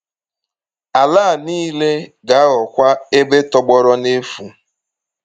Ala a nile ga-aghọkwa ebe tọgbọrọ n’efu.”